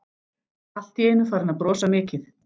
Allt í einu farinn að brosa mikið.